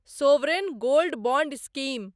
sovereign gold bond scheme